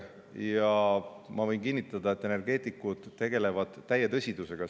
Ja ma võin kinnitada, et energeetikud tegutsevad täie tõsidusega.